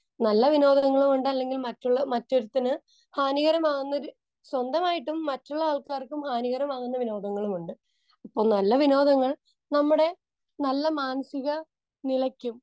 Speaker 2 നല്ല വിനോദങ്ങളും ഉണ്ട് അല്ലെങ്കിൽ മറ്റുള്ള, മറ്റൊരുത്തന് ഹാനികരമാകുന്ന, സ്വന്തമായിട്ടും മറ്റുള്ള ആൾക്കാർക്കും ഹാനികരമാകുന്ന വിനോദങ്ങളും ഉണ്ട്. ഇപ്പോൾ നല്ല വിനോദങ്ങൾ നമ്മുടെ നല്ല മാനസിക നിലയ്ക്കും